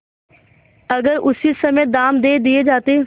अगर उसी समय दाम दे दिये जाते